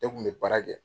Ne kun bɛ baara kɛ